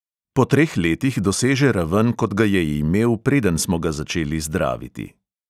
Po treh letih doseže raven, kot ga je imel, preden smo ga začeli zdraviti.